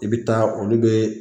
I bɛ taa olu bɛ